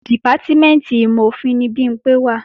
Dìpátímẹ̀ntì ìmọ̀-òfin ni Bimpé wà